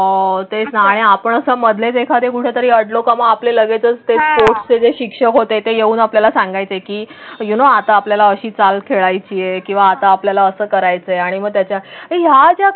अं तेच ना आपण मधलेच कुठे तरी अडलो का मग आपले लगेचच ते स्पोर्ट्सचे शिक्षक होते. ते येऊन आपल्याला सांगायचं की युनो आता आपल्याला अशी चाल खेळायची आहे किंवा आता आपल्याला असं करायचं आणि मग त्याच्या ह्याच्या.